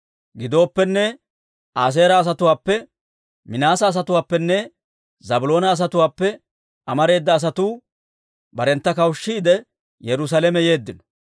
Gidooppenne, Aaseera asatuwaappe, Minaase asatuwaappenne Zaabiloona asatuwaappe amareeda asatuu barentta kawushshiide, Yerusaalame yeeddino.